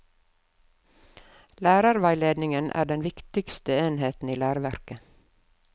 Lærerveiledningen er den viktigste enheten i læreverket.